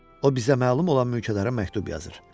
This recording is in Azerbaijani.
O bizə məlum olan mülkədara məktub yazır.